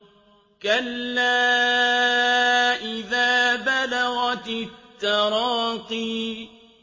كَلَّا إِذَا بَلَغَتِ التَّرَاقِيَ